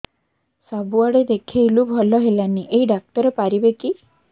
ସବୁଆଡେ ଦେଖେଇଲୁ ଭଲ ହେଲାନି ଏଇ ଡ଼ାକ୍ତର ପାରିବେ କି